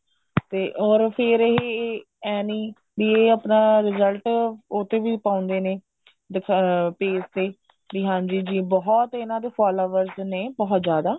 ਤੇ ਅਰ ਫੇਰ ਐਂ ਨਹੀਂ ਵੀ ਇਹ ਆਪਣਾ result ਉਹ ਤੇ ਵੀ ਪਾਉਂਦੇ ਨੇ ਅਹ page ਤੇ ਵੀ ਹਾਂਜੀ ਜੀ ਬਹੁਤ ਇਹਨਾ ਦੇ followers ਨੇ ਬਹੁਤ ਜਿਆਦਾ